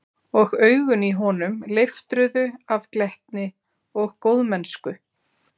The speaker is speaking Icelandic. Og augun í honum leiftruðu af glettni og góðmennsku.